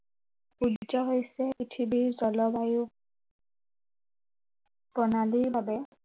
সূৰ্য হৈছে পৃথিৱীৰ জলবায়ুৰ প্ৰণালীৰ বাবে